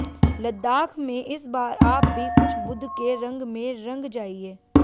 लद्दाख में इस बार आप भी कुछ बुद्ध के रंग में रंग जाइये